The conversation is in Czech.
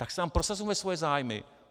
Tak si tam prosazujme svoje zájmy.